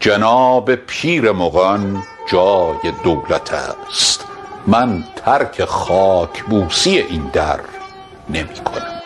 جناب پیر مغان جای دولت است من ترک خاک بوسی این در نمی کنم